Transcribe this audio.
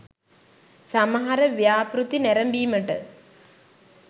සමහර ව්‍යාපෘති නැරඹීමට